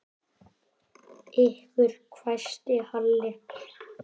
Ykkur hvæsti Halli.